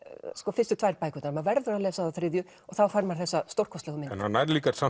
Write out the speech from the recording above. fyrstu tvær bækurnar maður verður að lesa þá þriðju og þá fær maður þessa stórkostlegu mynd en hann nær líka